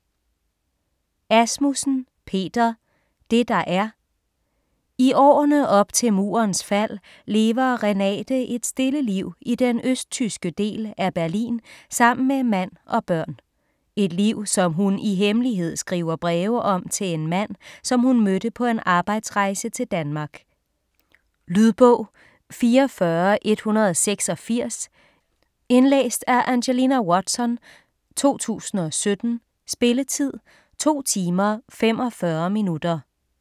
Asmussen, Peter: Det der er I årene op til murens fald lever Renate et stille liv i den østtyske del af Berlin sammen med mand og børn. Et liv som hun i hemmelighed skriver breve om til en mand, som hun mødte på en arbejdsrejse til Danmark. Lydbog 44186 Indlæst af Angelina Watson, 2017. Spilletid: 2 timer, 45 minutter.